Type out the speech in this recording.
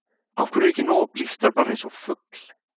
Af hverju er ekki nóg að blístra bara eins og fugl?